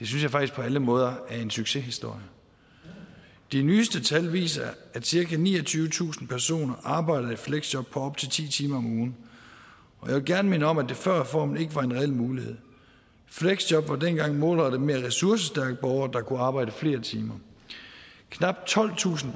synes jeg faktisk på alle måder er en succeshistorie de nyeste tal viser at cirka niogtyvetusind personer arbejder i fleksjob på op til ti timer om ugen jeg vil gerne minde om at det før reformen ikke var en reel mulighed fleksjob var dengang målrettet mere ressourcestærke borgere der kunne arbejde flere timer knap tolvtusind